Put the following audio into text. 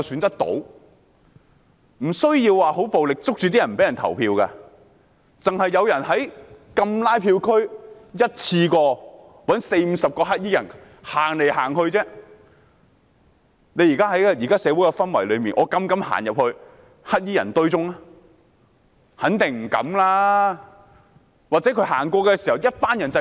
不需要十分暴力地抓着別人不讓投票，只需要有人在禁拉票區一次過找四五十名黑衣人走來走去，在現時的社會氛圍下，有沒有人膽敢走進黑衣人群裏？